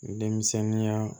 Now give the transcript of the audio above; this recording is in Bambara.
Denmisɛnninya